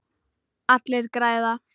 Allir græða.